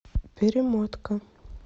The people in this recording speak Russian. перемотка